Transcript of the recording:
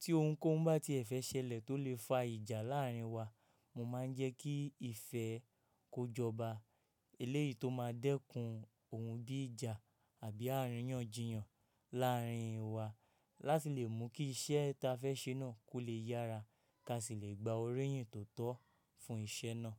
Tí ohun kan bá tiẹ̀ fẹ́ ṣẹlẹ̀ tó lè fa ìjà láàárín wa, mo máa ń jẹ́ kí ìfẹ́ kọ́ jọba. Eléyìí tó máa dẹ́kun ohun bí ìjà àbí àríyànjiyàn láàárín wa láti lè mú kí iṣẹ́ tí a fẹ́ ṣe náà kó lè yára, ká sì lè gba orí yìn tó tọ́ fún iṣẹ́ náà.